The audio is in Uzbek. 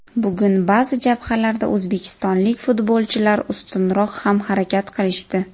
Bugun baʼzi jabhalarda o‘zbekistonlik futbolchilar ustunroq ham harakat qilishdi.